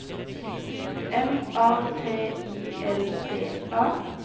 M A T I L D A